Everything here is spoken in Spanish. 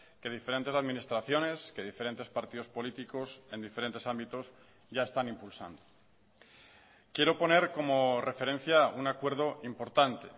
que diferentes administraciones que diferentes partidos políticos en diferentes ámbitos ya están impulsando quiero poner como referencia un acuerdo importante